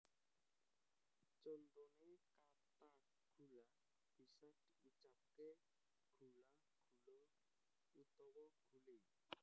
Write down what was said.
Contone kata gula bisa diucapke gula gulo utawa gule